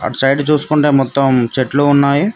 Side చూసుకుంటే మొత్తం చెట్లు ఉన్నాయి.